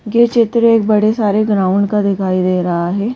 यह चित्र एक बड़े सारे ग्राउंड का दिखाई दे रहा है।